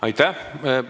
Aitäh!